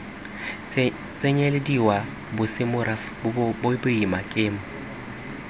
tsenyelediwa bosemorafe bong boimana kemo